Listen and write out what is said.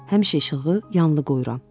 Həmişə işığı yanılı qoyuram.